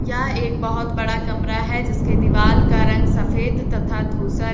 यह एक बहोत बड़ा कमरा है जिसके दीवाल का रंग सफेद तथा धूसर--